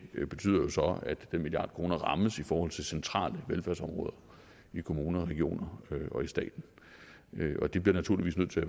betyder jo så at den milliard kroner rammes i forhold til centrale velfærdsområder i kommunerne regionerne og staten og de bliver naturligvis nødt til